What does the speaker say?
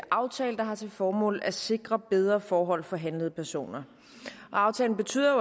aftale der har til formål at sikre bedre forhold for handlede personer aftalen betyder